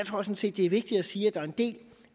sådan set det er vigtigt at sige at der er en del